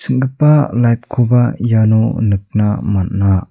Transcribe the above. ching·gipa light-koba iano nikna man·a.